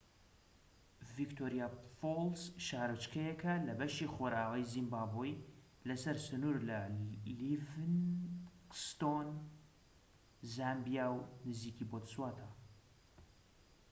ڤیکتۆریا فۆڵس شارۆچکەیەکە لە بەشی خۆرئاوای زیمبابوی لە سەر سنوور لە لیڤینگستۆن زامبیا و نزیکی بۆتسوانا